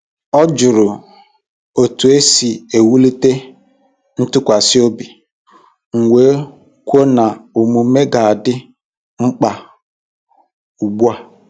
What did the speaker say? Ọ jụrụ otu esi ewulite ntụkwasị obi, m wee kwuo na omume ga-adị mkpa ugbu a.